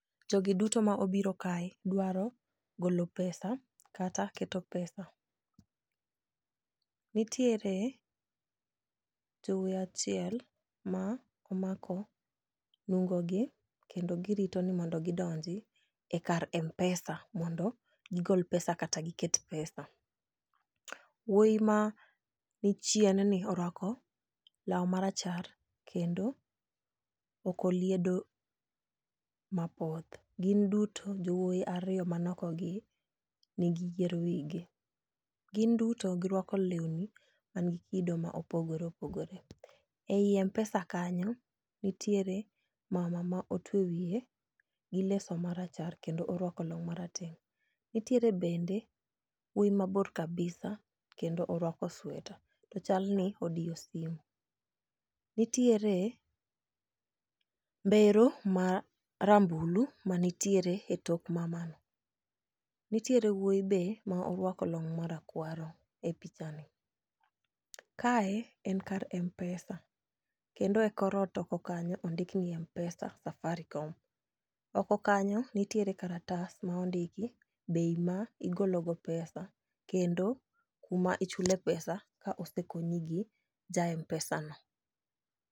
Jogi duto ma obiro kae dwaro golo pesa kata keto pesa. Nitiere jowuoi achiel ma omako nungo gi kendo girito ni mondo gidonji e kar mpesa mondo gigol pesa kata giket pesa. Wuoyi ma ni chien ni orwako lau marachar, kendo okoliedo mapoth. Gin duto jowuoyi ariyo mani oko gi, nigi yier e wigi. Gin duto girwako lewni manigi kido ma opogore opogore. Ei mpesa kanyo nitiere mama ma otweyo wiye gi leso marachar kendo orwako long marateng'. Nitiere bende wuoyi mabor kabisa, to kendo orwako sweta. To chalni odiyo simu. Nitiere mbero ma rambulu ma nitiere e tok mamano. Nitiere wuoyi be ma orwako long' marakwaro e picha ni. Kae en kar mpesa. Kendo e kor ot oko kanyo ondik ni mpesa safaricom. Oko kanyo nitiere kalatas ma ondiki bei ma igolo go pesa. Kendo kuma ichule pesa ka osekony gi ja mpesa no.